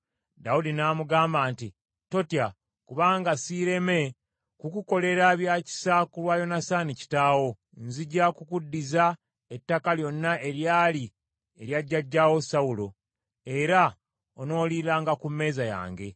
Dawudi n’amugamba nti, “Totya kubanga siireme kukukolera bya kisa ku lwa Yonasaani kitaawo. Nzija kukuddiza ettaka lyonna eryali erya jjajjaawo Sawulo, era onooliranga ku mmeeza yange.”